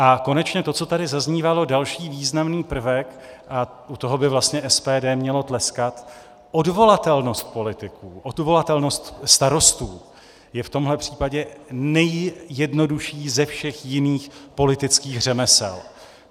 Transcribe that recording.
A konečně to, co tady zaznívalo, další významný prvek - a u toho by vlastně SPD mělo tleskat - odvolatelnost politiků, odvolatelnost starostů je v tomhle případě nejjednodušší ze všech jiných politických řemesel.